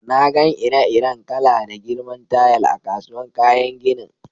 Na gan ire-iren kala da girman tayal a'kasuwan kayan ginin.